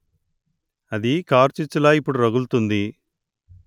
అది కార్చిచ్చులా ఇప్పుడు రగులుతుంది